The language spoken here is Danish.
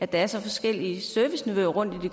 der er så forskellige serviceniveauer rundt i